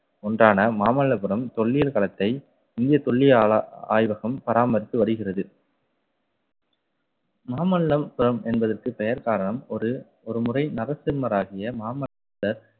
ஒன்றான மாமல்லபுரம் தொல்லியல் களத்தை இந்திய தொல்லியல் ஆய்வகம் பராமரித்து வருகிறது. மாமல்லபுரம் என்பதற்கு பெயர் காரணம் ஒரு ஒருமுறை நரசிம்மராகிய மாமனிதர்